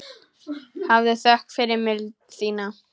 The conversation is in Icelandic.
Hafðu þökk fyrir mildi þína.